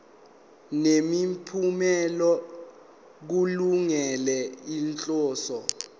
nemiphumela kulungele inhloso